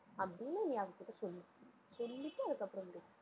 அப்படின்னு, நீ அவகிட்ட சொல்லு சொல்லிட்டு, சொல்லிட்டு அதுக்கப்புறம் என்கிட்ட பேசு